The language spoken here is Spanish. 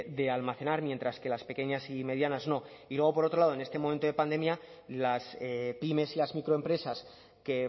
de almacenar mientras que las pequeñas y medianas no y luego por otro lado en este momento de pandemia las pymes y las microempresas que